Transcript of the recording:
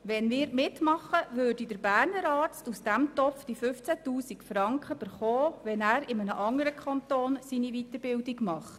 Wenn wir mitmachen, würde der Berner Arzt aus diesem Topf die 15 000 Franken erhalten, wenn er seine Weiterbildung in einem anderen Kanton macht.